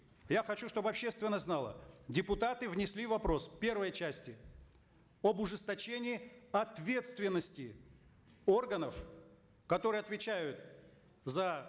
я хочу чтобы общественность знала депутаты внесли вопрос в первой части об ужесточении ответственности органов которые отвечают за